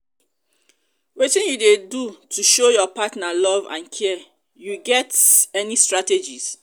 wetin you dey do to show your partner love and care you get you get any strategies?